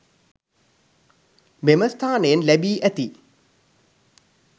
මෙම ස්ථානයෙන් ලැබී ඇති